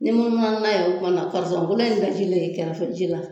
Ni munumunu n'a ye o kuma na kolon in ye bɛ jilen e kɛrɛfɛ ji la